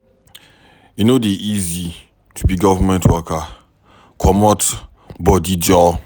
E no dey easy to be government worker, comot bodi joor.